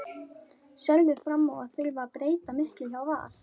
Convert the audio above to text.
Sérðu fram á að þurfa að breyta miklu hjá Val?